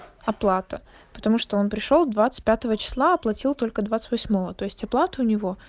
оплата потому что он пришёл двадцать пятого числа оплатил только двадцать восьмого то есть оплату у него